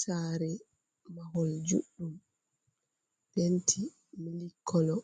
Sare mahol juɗɗum, penti milk kolo,